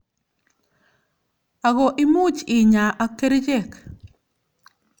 Ako imuch inyaa ak kerichek.